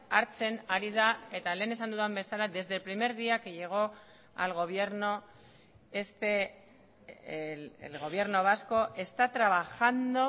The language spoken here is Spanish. hartzen ari da eta lehen esan dudan bezala desde el primer día que llegó al gobierno este el gobierno vasco está trabajando